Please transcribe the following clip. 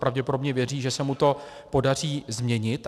Pravděpodobně věří, že se mu to podaří změnit.